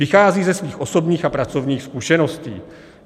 Vychází ze svých osobních a pracovních zkušeností.